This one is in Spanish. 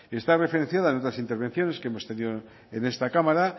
esta referencia en otras intervenciones que hemos tenido en esta cámara